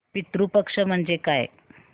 पितृ पक्ष म्हणजे काय